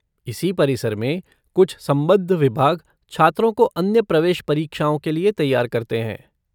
इसी परिसर में कुछ संबद्ध विभाग छात्रों को अन्य प्रवेश परीक्षाओं के लिए तैयार करते हैं।